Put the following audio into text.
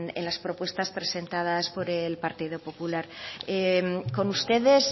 en la propuestas presentadas por el partido popular con ustedes